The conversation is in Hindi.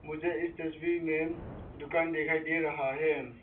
मुझे इस तस्वीर में दुकान दिखाई दे रहा है।